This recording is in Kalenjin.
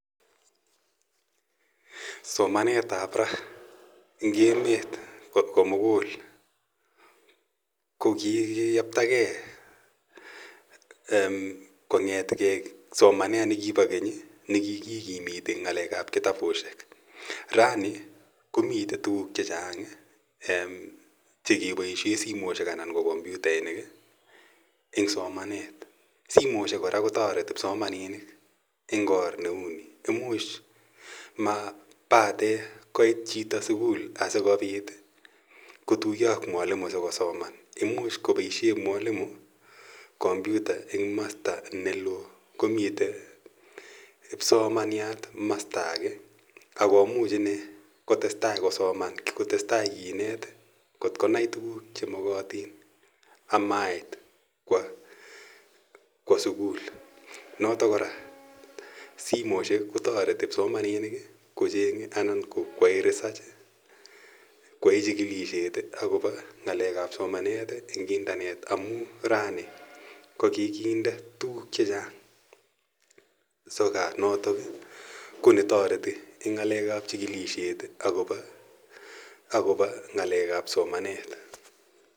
Somanet ap ra eng' emet ko mugul konkikiyaptagei kong'ete gei somanet ne kipa keny ne kikikimiti ng'alek ap kitapushek. Rani ko mitei tuguk che chang' che kepaishe simoshek anan ko kompyutaishek eng' somanet. Simoshek kora ko tareti kipsomaninik eng' or ne u ni, imuch ma pate koit chito sukul asikopit kotuya ak mwalimu asikopit kosoman. Imuch kopaishe mwalimu kompyuta eng' masta ne loo ko mitei kipsomaniat masta age. Ako much ine kotes tai kinet kot ko nai tuguuk che makatin ama iit kowa sukul. Notok kora simoshek kotareti kipsomanini kocheng'e anan ko koyae research, koyae chikilishet akopa ng'alek ap somanet eng' internet amu rani ko kikinde tuguuk che chang' sokat notok ko ni tareti eng' ng'alek ap chikilishet akopa ng'alek ap somanet.